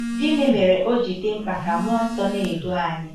Gịnị mere o ji dị mkpa ka mmụọ nsọ na-edu anyị?